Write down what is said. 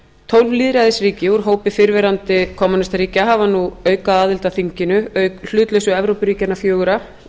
tólf lýðræðisríki úr hópi fyrrverandi kommúnistaríkja hafa nú aukaaðild að þinginu auk hlutlausu evrópuríkjanna fjögurra